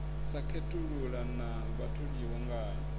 sa khethulula na vhatholiwa ngae